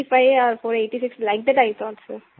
485 or 486 like that I thought so